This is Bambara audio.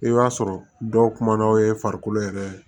I b'a sɔrɔ dɔw kumana o ye farikolo yɛrɛ ye